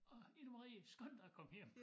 Åh Ida Marie skynd dig at komme hjem